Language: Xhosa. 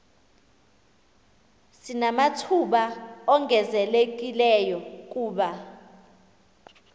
sinamathuba ongezelelekileyo kuba